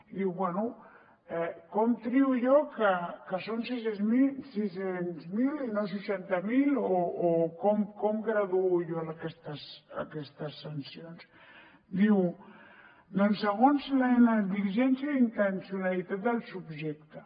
i diu bé com trio jo que són sis cents miler i no seixanta mil o com graduo jo aquestes sancions diu doncs segons la negligència i intencionalitat del subjecte